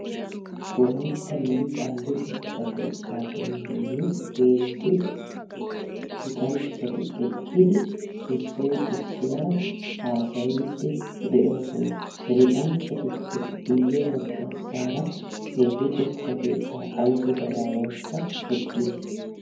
Wolaytta liiqa luxetta keettaa penggeni heezzu luxanchchati eqqidi issoy issuwara haasayidi deosona. He luxanchchatuppe guye baggasara he luxetta keettaa ayso gadaawaykka eqqiis.